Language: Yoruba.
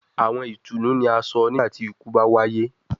Awọn itunu ni a sọ nigbati iku ba waye